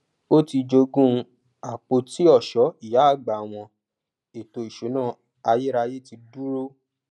ó ti jogún àpoti ọṣọ ìyá àgbà wọn ètò ìṣúná ayérayé ti dúró